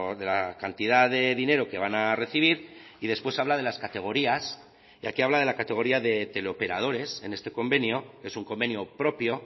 de la cantidad de dinero que van a recibir y después habla de las categorías y aquí habla de la categoría de teleoperadores en este convenio es un convenio propio